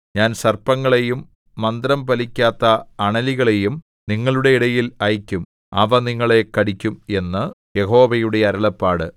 ഞാൻ സർപ്പങ്ങളെയും മന്ത്രം ഫലിക്കാത്ത അണലികളെയും നിങ്ങളുടെ ഇടയിൽ അയയ്ക്കും അവ നിങ്ങളെ കടിക്കും എന്ന് യഹോവയുടെ അരുളപ്പാട്